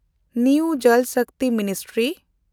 new Jal Shakti ministry